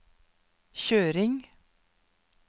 kjøring